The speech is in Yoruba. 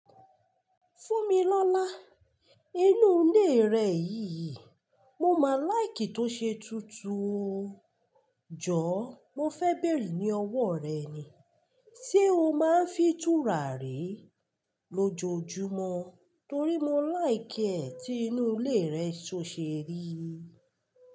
Fún mi lọ́lá, inú ilé rẹ yìí, mo máa like to ṣe tutù o. Jọ̀ọ́ mo fẹ́ bèèrè ní ọwọ́ rẹ ni, ṣe o máa ń fi tùràrí lójoójúmọ́? Torí mo like ẹ̀ tí inú ilé rẹ ṣo ṣeri.